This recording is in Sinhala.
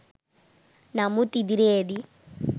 නමුත් ඉදිරියේදී